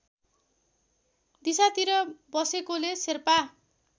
दिशातिर बसेकोले शेर्पा